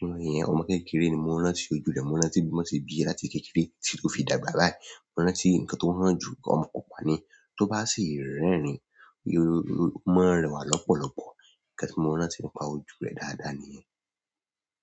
Ọmọ yẹn, ọmọ kékeré ni mo rántí ojú rẹ̀, mo rántí bí wọ́n ṣe bíi rẹ̀ láti kékeré títí ó fi dàgbà báyìí. Mo rántí ǹkan tó hàn jù ọmọ pupa ni, tó bá sì ń rẹ́rìn-ín, i ó máa ń rẹwà lọ́pọ̀lọpọ̀. Ǹkan tí mo rántí pa ojú rẹ̀ dáadáa nìyẹn.